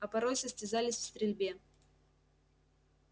а порой состязались в стрельбе